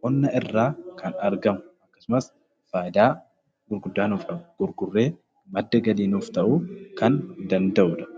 qonna irraa kan argamu akkasumas faayidaa gurguddaa nuuf qabu. Gurgurree madda galii nuuf ta'uu kan danda'udha.